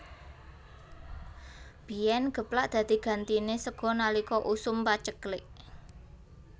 Biyén geplak dadi gantiné sega nalika usum paceklik